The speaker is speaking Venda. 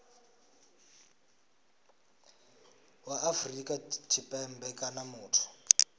wa afrika tshipembe kana muthu